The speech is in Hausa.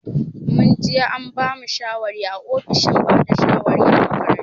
Mun je an bamu shawari a ofishin bada shawari a makaranta.